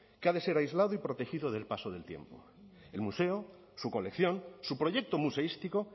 que ha de ser aislado y protegido del paso del tiempo el museo su colección su proyecto museístico